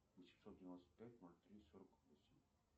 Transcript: восемьсот девяносто пять ноль три сорок восемь